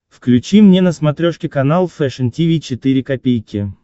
включи мне на смотрешке канал фэшн ти ви четыре ка